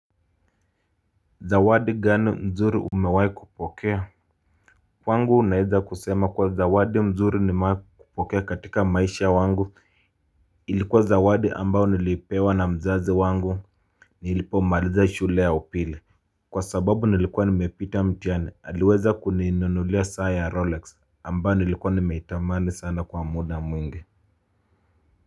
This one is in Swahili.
Zawadi gani nzuri umewahi kupokea? Kwangu naeza kusema kuwa zawadi mzuri nimewahi kupokea katika maisha wangu ilikuwa zawadi ambao nilipewa na mzazi wangu nilipomaliza shule ya upili kwa sababu nilikuwa nimepita mtihani. Aliweza kuninunulia saa ya Rolex ambao nilikuwa nimeitamani sana kwa muda mwingi.